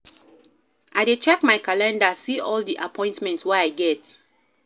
I dey check my calendar, see all di appointment wey I get.